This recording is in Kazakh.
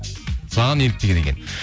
саған еліктеген екен